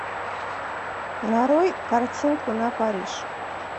нарой картинку на париж